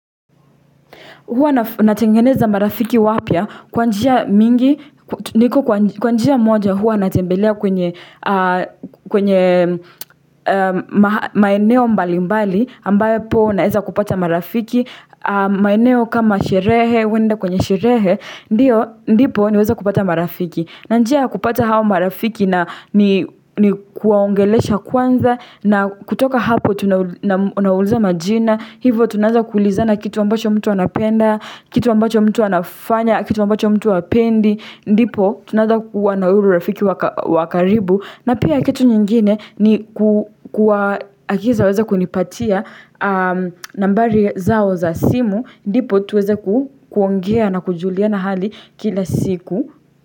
Huwa natengeneza marafiki wapya kwa njia mingi, niko kwa njia moja huwa natembelea kwenye maeneo mbali mbali, ambayo po naeza kupata marafiki, maeneo kama sherehe, wende kwenye sherehe, ndio, ndipo niweze kupata marafiki. Na njia kupata hao marafiki na ni kuwaongelesha kwanza na kutoka hapo tunawuliza majina Hivo tunaza kulizana kitu ambacho mtu anapenda, kitu ambacho mtu anafanya, kitu ambacho mtu apendi Ndipo tunaza kuwa na urafiki wa karibu na pia kitu nyingine ni kuwa akiza weze kunipatia nambari zao za simu Ndipo tuweze kuongea na kujuliana hali kila siku.